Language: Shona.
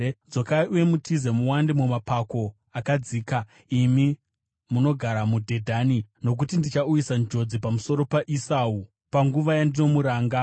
Dzokai uye mutize, muwande mumapako akadzika, imi munogara muDhedhani, nokuti ndichauyisa njodzi pamusoro paEsau, panguva yandinomuranga.